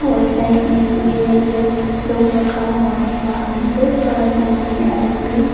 और साइड में यह नेकलेस लोग रखा हुआ है वहां में बहोत सारा सामान है अलग भी--